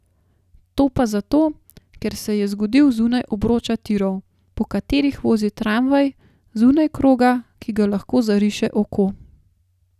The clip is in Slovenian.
To pa zato, ker se je zgodil zunaj obroča tirov, po katerih vozi tramvaj, zunaj kroga, ki ga lahko zariše oko.